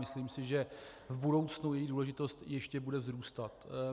Myslím si, že v budoucnu její důležitost ještě bude vzrůstat.